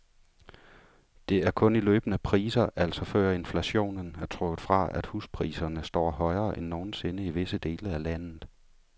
Det er kun i løbende priser, altså før inflationen er trukket fra, at huspriserne står højere end nogen sinde i visse dele af landet.